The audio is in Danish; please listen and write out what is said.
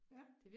Ja